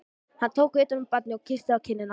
Hann tók utan um barnið og kyssti það á kinnina.